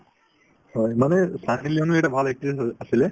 হয় মানে ছানী লিয়নিও এটা ভাল actress আ~ আছিলে